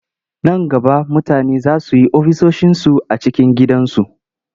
Nan gaba mutane za su yi ofisoshinsu a cikin gidansu.